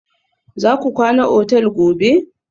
Za ku kwana otal gobe?